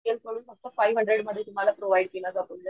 Real कडून फक्त five hundred मध्ये तुम्हाला प्रोव्हाइड केला जातो.